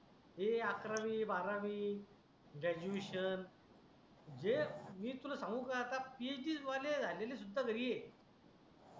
हे अकरावी बारावी ग्रॅड्युएशन जे मी तुला सांगू का आता PhD वाले झालेले सुद्धा घरी आहे.